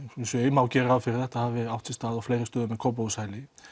má gera ráð fyrir að þetta hafi átt sér stað á fleiri stöðum en Kópavogshæli